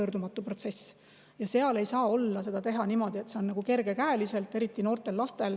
Sellepärast et see on tõesti tagasipöördumatu protsess ja seda ei saa teha kergekäeliselt, eriti noortel lastel.